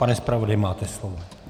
Pane zpravodaji, máte slovo.